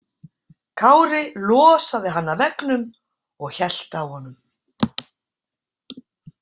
Kári losaði hann af veggnum og hélt á honum.